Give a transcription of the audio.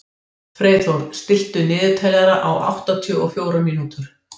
Freyþór, stilltu niðurteljara á áttatíu og fjórar mínútur.